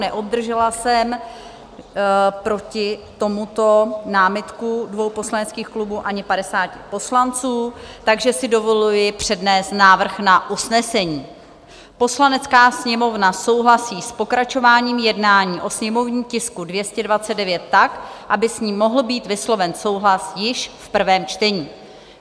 Neobdržela jsem proti tomuto námitku dvou poslaneckých klubů ani 50 poslanců, takže si dovoluji přednést návrh na usnesení: "Poslanecká sněmovna souhlasí s pokračováním jednání o sněmovním tisku 229 tak, aby s ním mohl být vysloven souhlas již v prvém čtení."